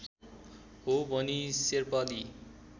हो भनी शेर्पाली